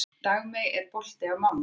Dagmey, er bolti á mánudaginn?